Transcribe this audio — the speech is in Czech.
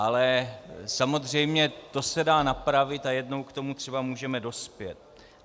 Ale samozřejmě to se dá napravit a jednou k tomu třeba můžeme dospět.